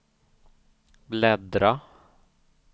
bläddra